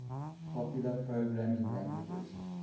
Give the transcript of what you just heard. popular programming languages